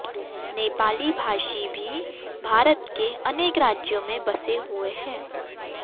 नेपाली भाषी भी भारत के अनेक राज्यों में बसे हुए हैं